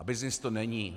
A byznys to není!